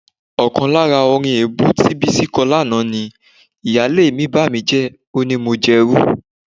Ọkàn lára orin èébú tí Bísí kọ lánàá ni: "Ìyáálé mi bàmíjẹ́, ó ní mo gbérú..."